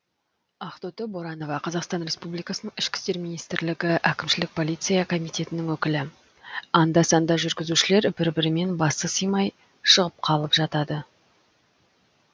ақтоты боранова қазақстан республикасының ішкі істер министрлігі әкімшілік полиция комитетінің өкілі анда санда жүргізушілер бір бірімен басы сыймай шығып қалып жатады